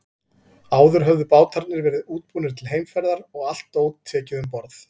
Áður höfðu bátarnir verið útbúnir til heimferðar og allt dót tekið um borð.